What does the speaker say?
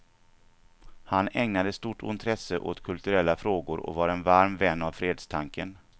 Han ägnade stort intresse åt kulturella frågor och var en varm vän av fredstanken.